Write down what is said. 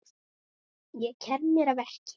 Ég kem mér að verki.